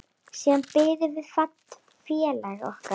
Siðan biðum við félaga okkar.